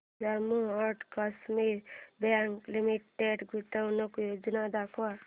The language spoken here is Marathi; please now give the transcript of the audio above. Jammu and Kashmir bank limited गुंतवणूक योजना दाखव